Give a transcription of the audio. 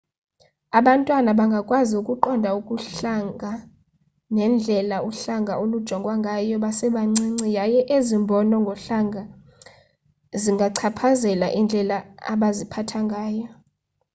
abantwana bangakwazi ukuqonda ubuhlanga nendlela uhlanga olujongwa ngayo besebancinci yaye ezi mbono ngohlanga zingachaphazela indlela abaziphatha ngayo